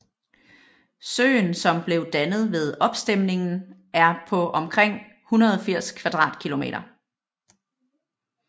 Søen som blev dannet ved opstemningen er på omkring 180 km²